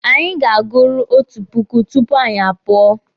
Anyị ga-aguru otu puku tupu anyị apụọ.